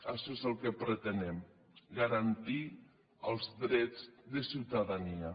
això és el que pretenem garantir els drets de ciutadania